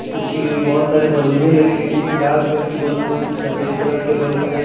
कुछ बहोत सारे बैलूने लगी है कुछ लाल कलर की बलून है कुछ सफेद कलर के बलून है।